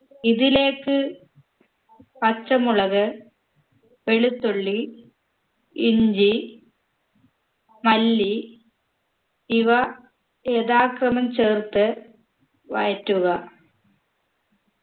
ഇതിലേക്ക് പച്ചമുളക് വെളുത്തുള്ളി ഇഞ്ചി മല്ലി ഇവ യഥാക്രമം ചേർത്ത് വഴറ്റുക